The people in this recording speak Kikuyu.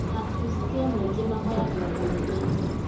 Akristiano aingĩ mahoyangĩra kanitha-inĩ.